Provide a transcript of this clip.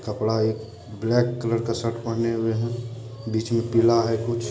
कपड़ा एक black colour का शर्ट पहने हुए है बीच में पीला है कुछ---